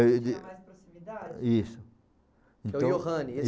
tinha mais proximidade? Isso.